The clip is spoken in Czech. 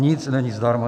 Nic není zdarma.